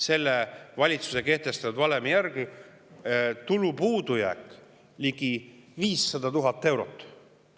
Selle valitsuse kehtestatud valemi järgi on tulupuudujääk ligi 500 000 eurot.